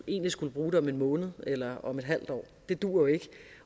egentlig skulle bruge det om en måned eller om et halvt år det duer jo ikke